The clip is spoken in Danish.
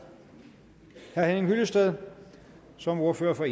herre henning hyllested som ordfører for